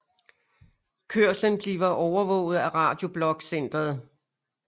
Kørslen bliver overvåget af Radio Blok Centeret